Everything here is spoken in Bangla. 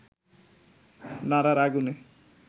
নাড়ার আগুনে